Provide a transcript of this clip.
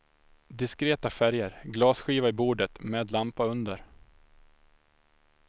Diskreta färger, glasskiva i bordet med lampa under.